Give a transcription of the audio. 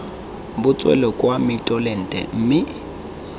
bo tswele kwa mitolente mme